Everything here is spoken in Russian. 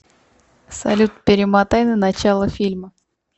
салют перемотай на начало фильма